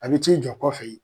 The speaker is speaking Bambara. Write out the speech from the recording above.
A be t'i jɔ kɔfe ye